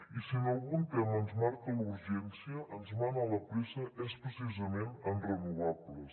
i si en algun tema ens marca la urgència ens mana la pressa és precisament en renovables